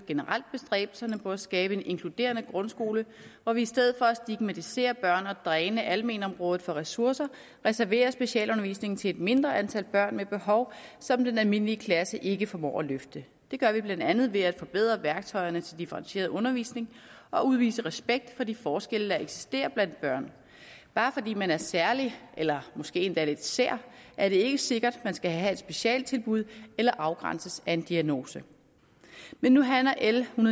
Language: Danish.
generelt bestræbelserne på at skabe en inkluderende grundskole hvor vi i stedet for at stigmatisere børn og dræne almenområdet for ressourcer reserverer specialundervisning til et mindre antal børn med behov som den almindelige klasse ikke formår at løfte det gør vi blandt andet ved at forbedre værktøjerne til differentieret undervisning og udvise respekt for de forskelle der eksisterer blandt børn bare fordi man er særlig eller måske endda lidt sær er det ikke sikkert man skal have et specialtilbud eller afgrænses af en diagnose men nu handler l en